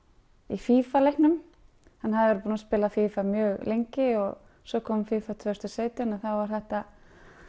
í FIFA leiknum hann hafði verið búinn að spila mjög lengi og svo kom tvö þúsund og sautján og þá var þetta